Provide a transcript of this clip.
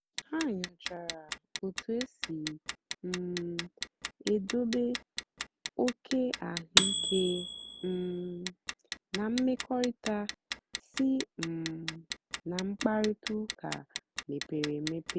ha nyòchàra otú èsì um èdòbé òké àhụ́ìké um na mmèkọ̀rị̀ta sí um ná mkpáịrịtà ụ́ka mepèrè emepè.